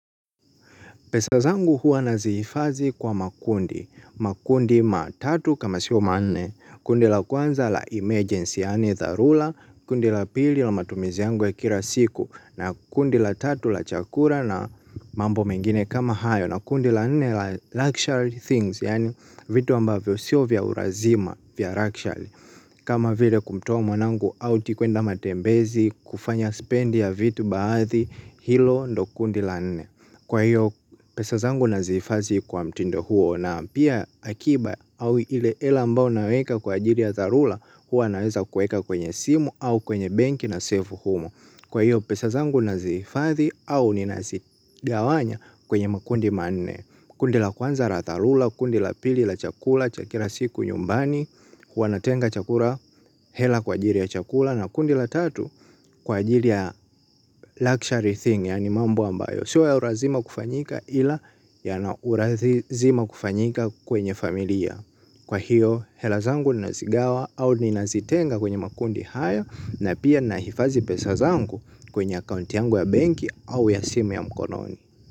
Pesa zangu huwa nazihifadhi kwa makundi. Makundi matatu kama sio manne, kundi la kwanza la emergency yaani dharura, kundi la pili la matumizi yangu ya kila siku, na kundi la tatu la chakula na mambo mengine kama hayo, na kundi la nne la luxury things yaani vitu ambavyo siyo vya ulazima vya luxury. Kama vile kumtoa mwanangu auti kuenda matembezi kufanya spendi ya vitu baadhi hilo ndo kundi la nene. Kwa hiyo pesa zangu nazifadhi kwa mtindo huo na pia akiba au ile hela ambao naweka kwa ajiri ya tharura hua naweza kueka kwenye simu au kwenye benki na save humo. Kwa hiyo pesazangu nazifadhi au ninazigawanya kwenye makundi manne. Kundi la kwanza la dharura, kundi la pili la chakula, cha kila siku nyumbani, huwa natenga chakula hela kwa ajili ya chakula na kundi la tatu kwa ajili ya luxury thing yaani mambo ambayo. Sio ya ulazima kufanyika ila yana ulazima kufanyika kwenye familia. Kwa hiyo hela zangu nazigawa au ninazitenga kwenye makundi hayo na pia nahifadhi pesa zangu kwenye account yangu ya banki au ya simu ya mkononi.